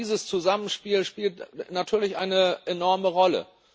Gerade dieses Zusammenspiel spielt natürlich eine enorme Rolle.